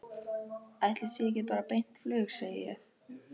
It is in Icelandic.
Ætli sé ekki bara beint flug, segi ég.